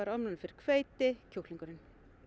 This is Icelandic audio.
ofnæmi fyrir hveiti kjúklingurinn